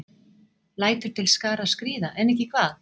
Lætur til skarar skríða, en ekki hvað?